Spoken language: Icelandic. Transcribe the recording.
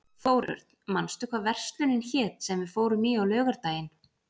Þórörn, manstu hvað verslunin hét sem við fórum í á laugardaginn?